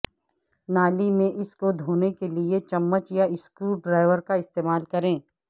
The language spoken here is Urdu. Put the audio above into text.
نالی میں اس کو دھونے کے لئے چمچ یا سکریو ڈرایور کا استعمال کریں